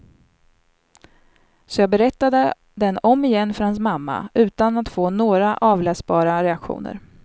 Så jag berättade den omigen för hans mamma, utan att få några avläsbara reaktioner.